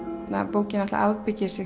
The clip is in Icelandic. bókin eiginlega afbyggir sig